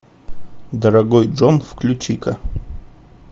дорогой дом включи ка